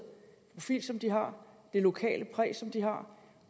profil som de har det lokale præg som de har